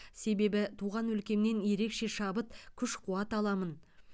себебі туған өлкемнен ерекше шабыт күш қуат аламын